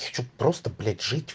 хочу просто блять жить